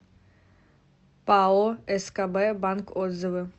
пао скб банк отзывы